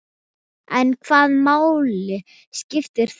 En hvaða máli skiptir það?